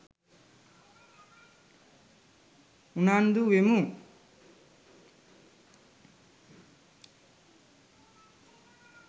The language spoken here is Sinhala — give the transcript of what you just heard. උනන්දු වෙමු.